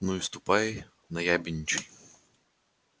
ну и ступай наябедничай